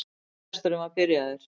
Fyrirlesturinn var byrjaður.